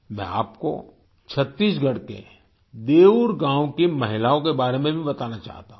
मैं आपको छत्तीसगढ़ के देऊर गाँव की महिलाओं के बारे में भी बताना चाहता हूँ